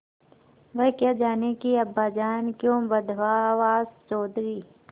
वह क्या जानें कि अब्बाजान क्यों बदहवास चौधरी